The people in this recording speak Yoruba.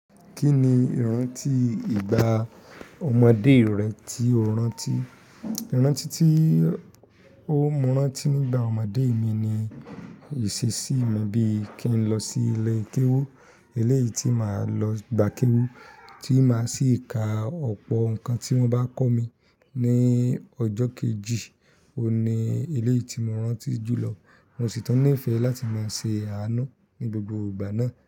Kí ni ìrántí ìgbà ọmọdé rẹ tí o rántí? Ìrántí tí n mú rántí nígbà ọmọdé mi ni ìṣesí mi bí i kí n lọ sí ilé kéwú. Ilé yìí tí màá lọ gbà kéwú, tí màá sì ka ọ̀pọ̀ nǹkan tí wọ́n bá kọ́ mi ní ọjọ́ kejì. Ó ni ilé yìí tí mo rántí jù lọ. Mo sì tún nífẹ̀ẹ́ láti máa ṣe àánú ní gbogbo ìgbà náà.